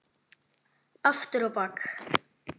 Aftur á bak.